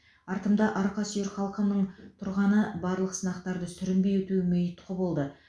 артымда арқа сүйер халқымның тұрғаны барлық сынақтарды сүрінбей өтуіме ұйтқы болды